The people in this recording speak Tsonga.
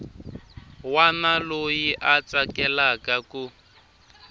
wana loyi a tsakelaka ku